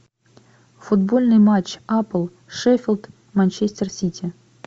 футбольный матч апл шеффилд манчестер сити